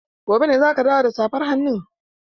Gobe ne za ki dawo da safar hannun?